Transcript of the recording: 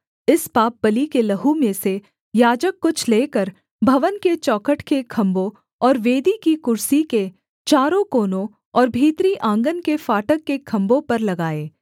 इस पापबलि के लहू में से याजक कुछ लेकर भवन के चौखट के खम्भों और वेदी की कुर्सी के चारों कोनों और भीतरी आँगन के फाटक के खम्भों पर लगाए